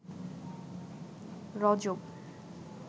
রজব